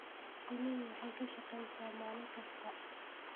Shinnidu waxay shaqeysaa maalin kasta.